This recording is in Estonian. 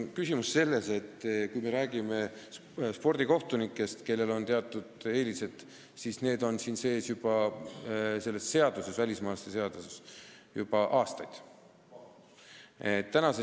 Kui me räägime spordikohtunikest, kellel on teatud eelised, siis nemad on välismaalaste seaduses juba aastaid sees olnud.